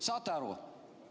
Saate aru?